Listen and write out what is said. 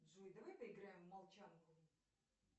джой давай поиграем в молчанку